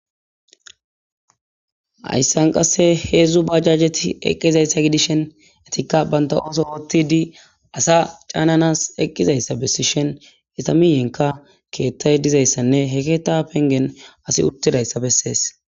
Ayssan qasse heedzdzu bajajeti eqqizayssa gidishen etikka banta ooso otidi asa caananas eqqizayssa bessi shen itamiyenka keettay dizayssanne he keetta pengen asi uttidayssa bessees.